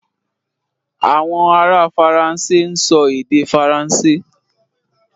Àwọn ará Faransé ń sọ èdè Faransé.